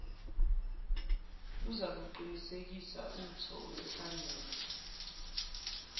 luzakuqinisekisa utho oluhlangene